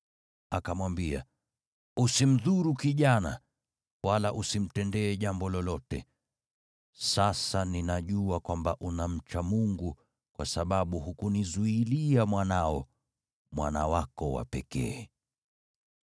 Akamwambia, “Usimdhuru kijana, wala usimtendee jambo lolote. Sasa ninajua kwamba unamcha Mungu, kwa sababu hukunizuilia mwanao, mwana wako wa pekee.”